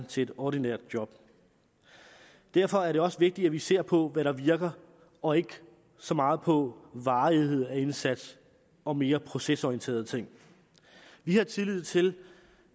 til et ordinært job derfor er det også vigtigt at vi ser på hvad der virker og ikke så meget på varighed af indsats og mere procesorienterede ting vi har tillid til